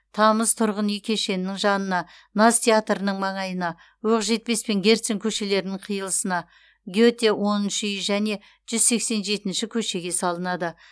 тамыз тұрғын үй кешенінің жанына наз театрының маңайына оқжетпес пен герцен көшелерінің қиылысына гете оныншы үй және жүз сексен жетінші көшеге салынады